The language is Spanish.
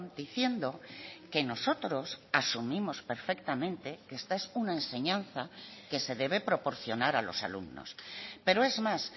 diciendo que nosotros asumimos perfectamente que esta es una enseñanza que se debe proporcionar a los alumnos pero es más